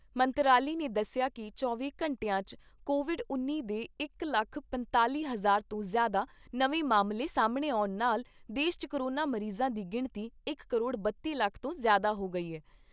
ਮੰਤਰਾਲੇ ਨੇ ਦੱਸਿਆ ਕਿ ਪਿਛੇ ਚੌਵੀਂ ਘੰਟਿਆਂ 'ਚ ਕੋਵਿਡ ਉੱਨੀ ਦੇ ਇਕ ਲੱਖ ਪੰਤਾਲ਼ੀ ਹਜ਼ਾਰ ਤੋਂ ਜ਼ਿਆਦਾ ਨਵੇਂ ਮਾਮਲੇ ਸਾਹਮਣੇ ਆਉਣ ਨਾਲ ਦੇਸ਼ 'ਚ ਕੋਰੋਨਾ ਮਰੀਜ਼ਾਂ ਦੀ ਗਿਣਤੀ ਇਕ ਕਰੋੜ ਬੱਤੀ ਲੱਖ ਤੋਂ ਜ਼ਿਆਦਾ ਹੋ ਗਈ ਐ।